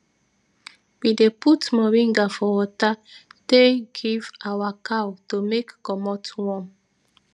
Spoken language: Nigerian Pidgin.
we dey put moringa for water tey give awa cow to take commot worm